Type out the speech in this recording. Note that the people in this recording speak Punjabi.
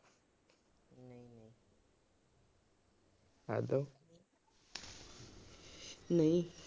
ਨਹੀਂ।